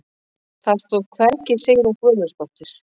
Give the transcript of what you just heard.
Það stóð hvergi Sigrún Guðmundsdóttir.